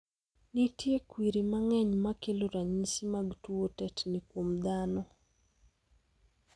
Nitie kwiri mang'eny makelo ranyisi mag tuo tetni kuom dhano.